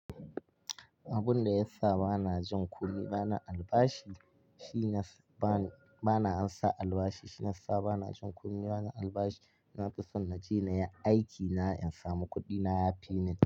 Abun da ya sa bana jin kunya bana albashi shine ba-bana ansa albashi shirya banason kowa da albashi. Nafi son na je inyi aiki na in sami kuɗi na yifimin.